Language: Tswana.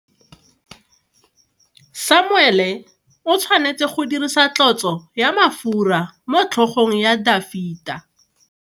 Samuele o tshwanetse go dirisa tlotso ya mafura motlhogong ya Dafita.